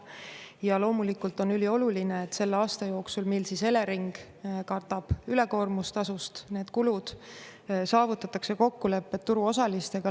Ja loomulikult on ülioluline, et selle aasta jooksul, mil Elering katab ülekoormustasust need kulud, saavutatakse kokkulepped turuosalistega.